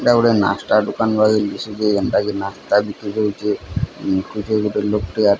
ଏଟା ଗୋଟେ ନାସ୍ତା ଦୋକାନ୍ ଭଳି ଦିଶୁଚେ ଏଣ୍ଟା କି ନିସ୍ତା ବିକ୍ରି ହୋଉଚେ ଖୁଜେ କିପରି ଲୋକ୍ ଟେ ଆ --